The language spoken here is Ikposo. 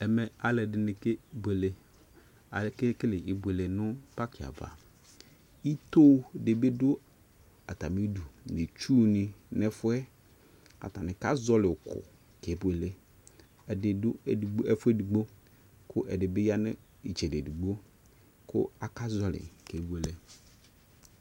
Ɛmɛ alʋɛdini kebʋele Akekele ibuele nʋ paki ava Ito di bi dʋ atami idu nʋ itsʋ ni fʋɛ Atani kazɔli ʋkʋ kebuele Ɛdi dʋ ɛdigbo ɛfueđigbo kʋ ɛdi bi ya nʋ itsɛdi ɛdigbo kʋ akazɔli kebuele